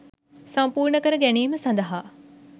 සම්පූර්ණ කර ගැනීම සඳහා